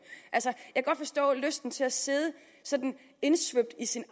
jeg kan godt forstå lysten til at sidde indsvøbt i sin